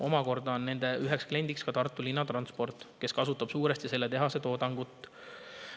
Omakorda on nende üheks kliendiks ka Tartu Linnatransport, kes kasutab suuresti selle tehase toodangut.